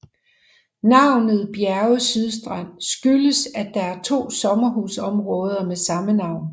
Navnet Bjerge Sydstrand skyldes at der er to sommerhusområder med samme navn